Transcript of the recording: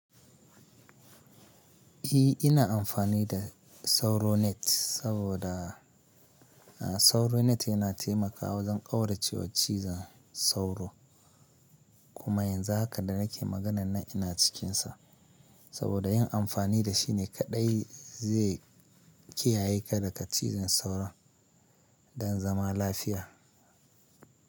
E ina amfani da SauroNet saboda, a SauroNet yana taimakawa wajen ƙaurace wa cizon sauro. Kuma yanzu haka da nake maganan nan ina cikinsa. Saboda yin amfani da shi ne kaɗai zai kiyaye ka daga cizon sauro don zama lafiya.